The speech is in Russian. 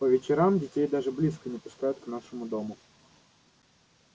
по вечерам детей даже близко не пускают к нашему дому